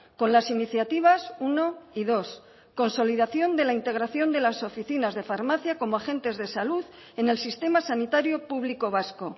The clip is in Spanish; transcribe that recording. con las iniciativas uno y dos consolidación de la integración de las oficinas de farmacia como agentes de salud en el sistema sanitario público vasco